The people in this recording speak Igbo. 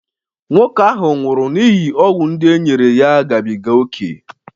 nwoke ahụ nwụrụ n'ihi ọgwụ ndị e nyere ya gabiga ókè